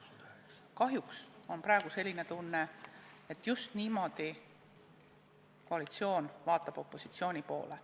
Kahjuks on praegu selline tunne, et just niimoodi koalitsioon vaatab opositsiooni poole.